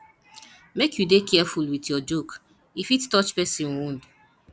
make you dey careful with your joke e fit touch person wound